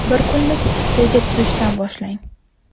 Bir kunlik reja tuzishdan boshlang.